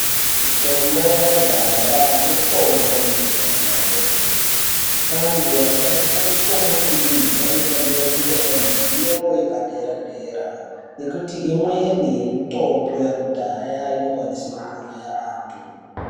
Mitombo yakudhaya mitombo inoshanda kwemene. Antu anoshandisa mitombo iyi anofanire kunge aine zivo yepadera-dera nekuti imweni mitombo yakudhaya inokwanise kuuraya antu.